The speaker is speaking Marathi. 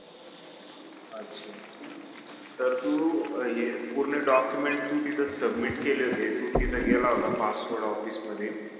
तर तू अं ये पूर्ण document तू तिथं submit केले होते तू तिथं गेला होता passport office मध्ये